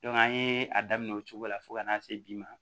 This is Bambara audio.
an ye a daminɛ o cogo la fo ka n'a se bi ma